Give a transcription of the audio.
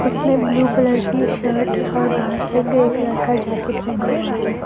उसने blue colour की shirt और बाहर से ग्रे कलर का जैकेट पहना हुआ है।